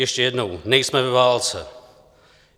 Ještě jednou: nejsme ve válce!